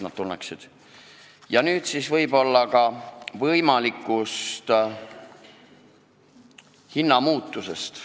Räägin nüüd ka võimalikust hinnamuutusest.